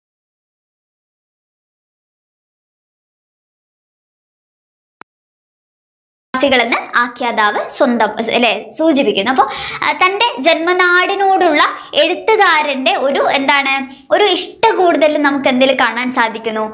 സൂചിപ്പക്കുന്നു അപ്പൊ തന്റെ ജന്മനാടിനോടുള്ള എഴുത്തുകാരന്റെ ഒരു എന്താണ് ഒരു ഇഷ്ടം കൂടുതൽ എന്തിൽ നമ്മുക് എന്തിൽ കാണാൻ സാധിക്കുന്നു.